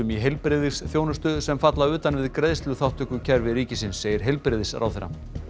heilbrigðisþjónustu sem falla utan við greiðsluþátttökukerfi segir heilbrigðisráðherra